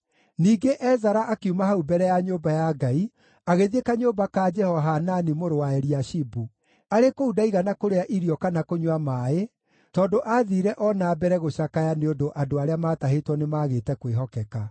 Ningĩ Ezara akiuma hau mbere ya nyũmba ya Ngai, agĩthiĩ kanyũmba ka Jehohanani mũrũ wa Eliashibu. Arĩ kũu ndaigana kũrĩa irio kana kũnyua maaĩ tondũ aathiire o na mbere gũcakaya nĩ ũndũ andũ arĩa maatahĩtwo nĩmagĩte kwĩhokeka.